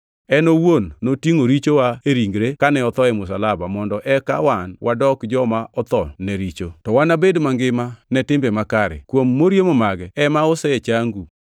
En owuon notingʼo richowa e ringre kane otho e msalaba mondo eka wan wadok joma otho ne richo, to wabed mangima ne timbe makare; kuom moriemo mage ema osechangu. + 2:24 \+xt Isa 53:5\+xt*